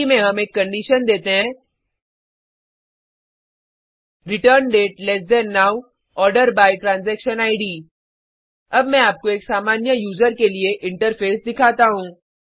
query में हम एक कंडीशन देते हैं return date less than now order by transaction Id अब मैं आपको एक सामान्य यूज़र के लिए इंटरफ़ेस दिखाता हूँ